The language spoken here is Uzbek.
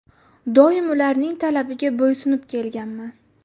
Doim ularning talabiga bo‘ysunib kelganman.